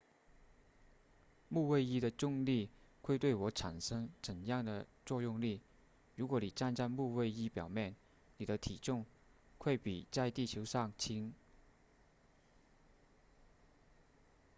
木卫一的重力会对我产生怎样的作用力如果你站在木卫一表面你的体重会比在地球上轻